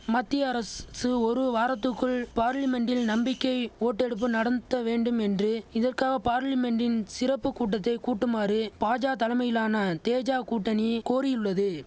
மத்திய அரசுசு ஒரு வாரத்துக்குள் பார்லிமென்ட்டில் நம்பிக்கை ஓட்டெடுப்பு நடந்த்த வேண்டும் என்று இதற்காக பார்லிமென்ட்டின் சிறப்பு கூட்டத்தை கூட்டுமாறு பாஜ தலைமையிலான தேஜ கூட்டணி கோரியுள்ளது